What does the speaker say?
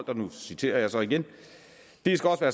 og nu citerer jeg så igen det skal også